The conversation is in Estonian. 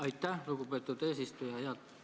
Aitäh, lugupeetud eesistuja!